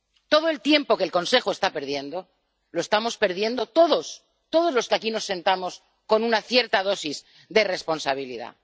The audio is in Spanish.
Todo el tiempo que el Consejo está perdiendo, lo estamos perdiendo todos, todos los que aquí nos sentamos con una cierta dosis de responsabilidad.